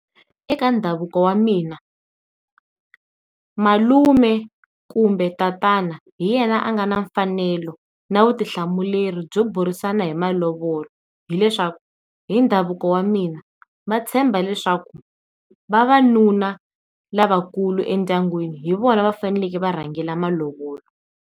Eka ndhavuko wa mina malume kumbe tatana hi yena a nga na mfanelo na vutihlamuleri byo burisana hi malovola, hileswaku hi ndhavuko wa mina va tshemba leswaku vavanuna lavakulu endyangwini hi vona va faneleke varhangela malovola.